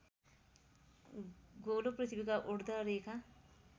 गोलो पृथ्वीका उर्द्धरेखा